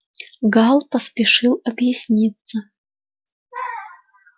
гаал поспешил объясниться